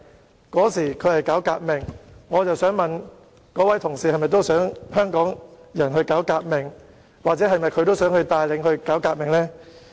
毛澤東當時是搞革命，我想問那位同事：他是否想香港人搞革命，或是否想帶領人民搞革命？